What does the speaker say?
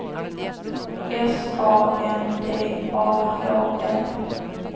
S A N D A H L